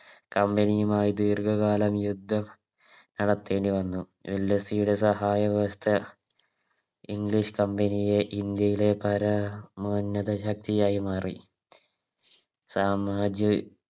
Company യുമായി ദീർഘകാല യുദ്ധം നടത്തേണ്ടി വന്നു ഡൽഹസ്സിയുടെ സഹായ വ്യവസ്ഥ English company യുടെ ഇന്ത്യയിലെ പരമോന്നത ശക്തിയായി മാറി സാമാജ്യ